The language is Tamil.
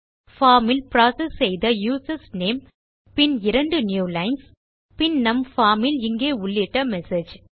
பார்ம் இல் புரோசெஸ் செய்த யூசர்ஸ் நேம் பின் இரண்டு நியூ லைன்ஸ் பின் நம் பார்ம் இல் இங்கே உள்ளிட்ட மெசேஜ்